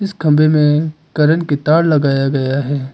इस कमरे में करंट की तार लगाया गया है।